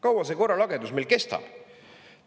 Kaua see korralagedus kestab?!